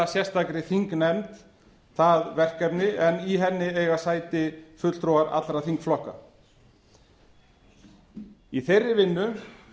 sérstakri þingnefnd það verkefni en i henni eiga sæti fulltrúar allra þingflokka í þeirri vinnu